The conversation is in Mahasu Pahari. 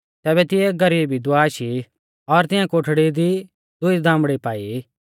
तैबै तिऐ एक गरीब विधवा आशी और तिऐं कोठड़ी दी दुई दामड़ी पाई